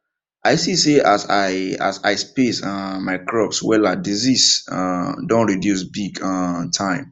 i see say as i as i space um my crops wella disease um don reduce big um time